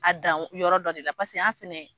A dan yɔrɔ dɔ de la, paseke, an fɛnɛ